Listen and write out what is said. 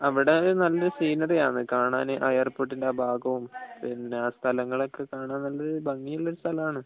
അവിടെ നല്ലൊരു സീനറി ആണ് കാണാന് ആ എയർപോർട്ടിന്റെ ആ ഭാഗവും പിന്നെ സ്ഥലങ്ങളൊക്കെ കാണാൻ നല്ല ഭംഗിയുള്ളൊരു സ്ഥലമാണ്